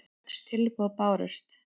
Sex tilboð bárust.